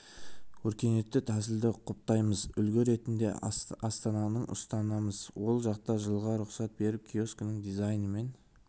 өркениетті тәсілді құптаймыз үлгі ретінде астананың ұстанамыз ол жақта жылға рұқсат беріп киосктің дизайны мен